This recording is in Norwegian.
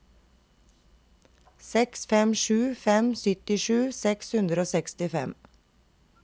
seks fem sju fem syttisju seks hundre og sekstifem